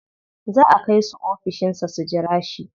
Za a kai su ofishin sa su jira shi.